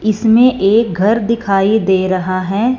इसमें एक घर दिखाई दे रहा है।